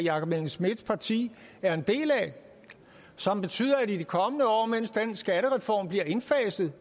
jakob engel schmidts parti er en del af og som betyder at i de kommende år mens den skattereform bliver indfaset